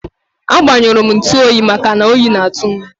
A gbanyurum ntuoyi maka oyi na atu m